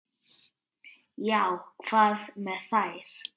Já, hvað með þær?